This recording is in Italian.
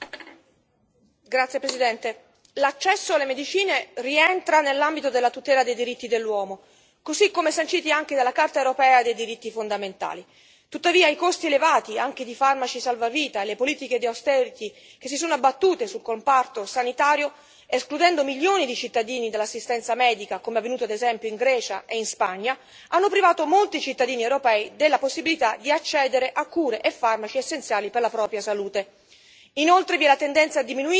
Signor Presidente, onorevoli colleghi, l'accesso alle medicine rientra nell'ambito della tutela dei diritti dell'uomo, così come sanciti anche dalla Carta europea dei diritti fondamentali. Tuttavia, i costi elevati anche di farmaci salvavita e le politiche di austerity che si sono abbattute sul comparto sanitario, escludendo milioni di cittadini dall'assistenza medica, come avvenuto ad esempio in Grecia e in Spagna, hanno privato molti cittadini europei della possibilità di accedere a cure e farmaci essenziali per la propria salute.